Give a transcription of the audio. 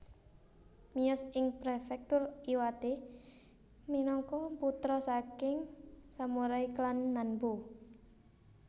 Miyos ing Prefektur Iwate minangka putra saking samurai klan Nanbu